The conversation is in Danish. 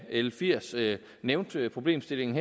l firs nævnte problemstillingen